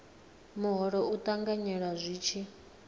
muholo u ṱanganyelwa zwi tshi